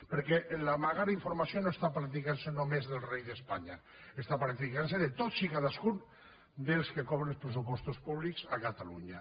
perquè amagar informació no està practicant se només del rei d’espanya està practicant se de tots i cadascun dels que cobren dels pressupostos públics a catalunya